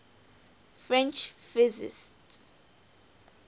french physicists